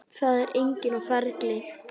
Það er enginn á ferli.